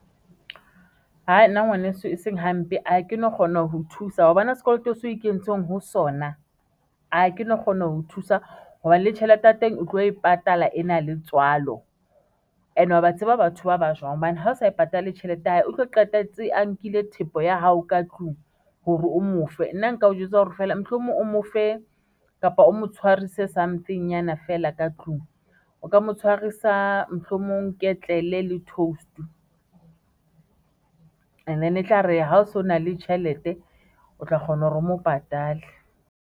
Nna ngwaneso e seng hampe a ha ke no kgona ho thusa hobane sekoloto seo e ikentseng ho sona a ha ke no kgona ho thusa hobane le tjhelete ya teng o tlo e patala ena le tswalo and wa ba tseba batho ba bang jwang hobane ha o sa e patale tjhelete ya hae, o tlo qetelletse a nkile thepa ya hao ka tlung hore o mo fe nna, nka o jwetsa hore feela mohlomong o mo fe kapa o mo tshwarise something-nyana fela ka tlung, o ka mo tshwarisa mohlomong ketlele le toast and then etlare ha o so na le tjhelete, o tla kgona hore o mo patale.